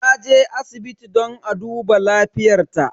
Taje asibiti don a duba lafiyar ta.